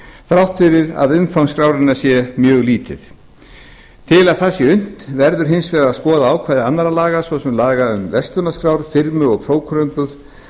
þrátt fyrir að umfang skráningar sé mjög lítið til að það sé unnt verður hins vegar að skoða ákvæði annarra laga svo sem laga um verslanaskrár firmu og prókúruumboð